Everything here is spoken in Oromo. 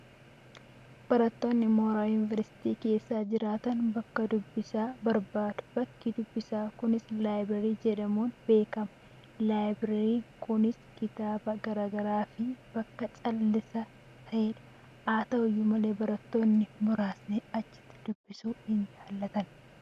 Barattoonni mooraa yuuniveersiitii keessa jiraatan bakka dubbisaa barbaadu. Bakki dubbisaa kunis laabireerii jedhamuun beekama. Laabireeriin kuusaa kitaabota garaa garaa fi bakka callisaa ta'edha. Haa ta'u malee, barattoonni muraasni achitti dubbisuu hin jaallatani.